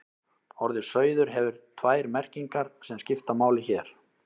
Orðið sauður hefur tvær merkingar sem skipta máli hér.